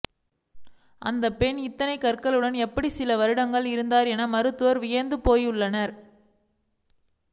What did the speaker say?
அந்த பெண் இத்தனை கற்களுடன் எப்படி சில வருடங்கள் இருந்தார் என மருத்துவர்கள் வியந்து போயுள்ளனர்